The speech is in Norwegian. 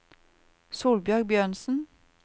Solbjørg Bjørnsen